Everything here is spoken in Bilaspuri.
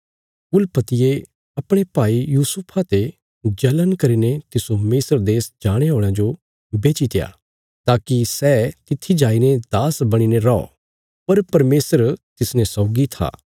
कुलपतियें अपणे भाई यूसुफा ते जल़ण करीने तिस्सो मिस्र देश जाणे औल़यां जो बेचीत्या ताकि सै तित्थी जाईने दास बणीने रौ पर परमेशर तिसने सौगी था